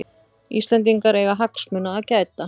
Íslendingar eiga hagsmuna að gæta